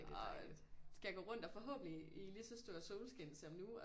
Og skal gå rundt og forhåbentligt i lige så stor solskin som nu